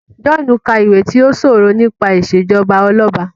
John ka iwè ti o sọrọ nípa ìṣèjọba Ọlọba.